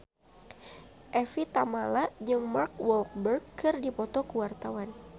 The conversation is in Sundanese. Evie Tamala jeung Mark Walberg keur dipoto ku wartawan